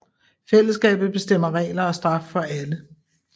Fællesskabet bestemmer regler og straf for alle